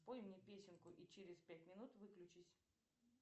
спой мне песенку и через пять минут выключись